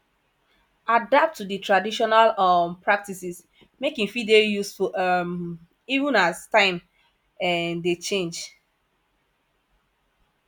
adapt to di trational um practices make e fit dey useful um even as time um dey change